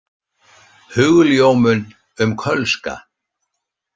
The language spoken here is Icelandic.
Hugljómun um kölska.